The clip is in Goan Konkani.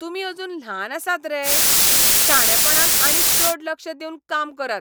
तुमी अजून ल्हान आसात रे? शाणेपणान आनी चड लक्ष दिवन काम करात.